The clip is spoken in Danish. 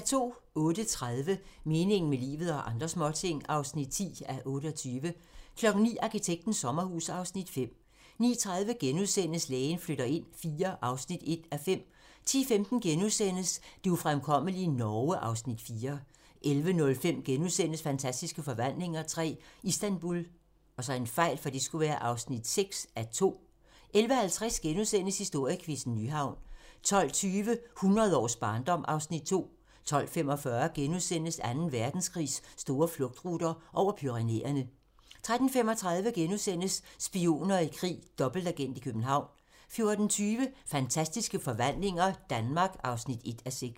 08:30: Meningen med livet - og andre småting (10:28) 09:00: Arkitektens sommerhus (Afs. 5) 09:30: Lægen flytter ind IV (1:5)* 10:15: Det ufremkommelige Norge (Afs. 4)* 11:05: Fantastiske Forvandlinger III - Istanbul (6:2)* 11:50: Historiequizzen: Nyhavn * 12:20: Hundrede års barndom (Afs. 2) 12:45: Anden Verdenskrigs store flugtruter - over Pyrenæerne * 13:35: Spioner i krig: Dobbeltagent i København * 14:20: Fantastiske forvandlinger - Danmark (1:6)